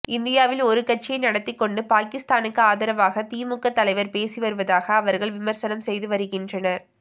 இந்தியாவில் ஒரு கட்சியை நடத்திக் கொண்டு பாகிஸ்தானுக்கு ஆதரவாக திமுக தலைவர் பேசி வருவதாகவும் அவர்கள் விமர்சனம் செய்து வருகின்றனர்